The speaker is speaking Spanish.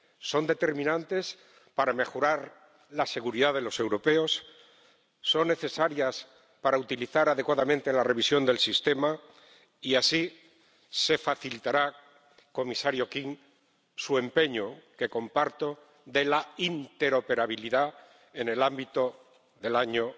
Son determinantes para mejorar la seguridad de los europeos, son necesarios para utilizar adecuadamente la revisión del sistema y así se facilitará, comisario King, su empeño —que comparto— de la interoperabilidad en el ámbito del año